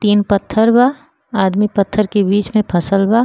तीन पत्थर बा। आदमी पत्थर के बीच में फसल बा।